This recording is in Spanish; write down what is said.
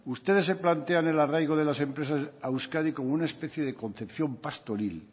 ustedes se plantean el arraigo de las empresas a euskadi como una especie de concepción pastoril